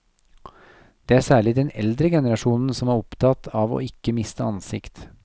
Det er særlig den eldre generasjonen som er opptatt av ikke å miste ansikt.